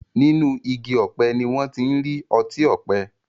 Nínú Igi ọ̀pẹ ni wón tí ń rí otí òpe.